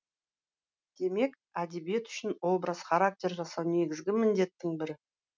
демек әдебиет үшін образ характер жасау негізгі міндеттің бірі